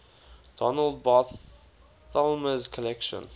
donald barthelme's collection